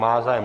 Má zájem?